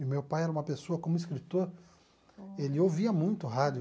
E meu pai era uma pessoa, como escritor, ele ouvia muito rádio.